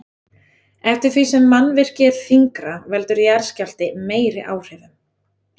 Eftir því sem mannvirki er þyngra veldur jarðskjálfti meiri áhrifum.